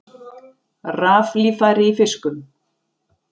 Raflíffæri í fiskum